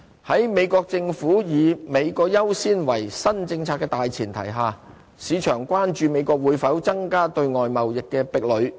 在美國政府以"美國優先"為新政策的大前提下，市場關注美國會否增加對外貿易的壁壘。